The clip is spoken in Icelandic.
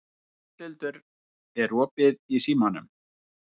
Ásthildur, er opið í Símanum?